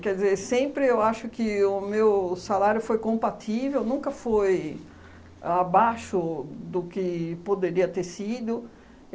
Quer dizer, sempre eu acho que o meu salário foi compatível, nunca foi abaixo do que poderia ter sido.